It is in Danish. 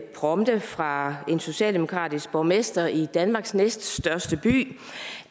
prompte fra en socialdemokratisk borgmester i danmarks næststørste by